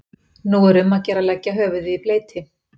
Nú er um að gera að leggja höfuðið í bleyti.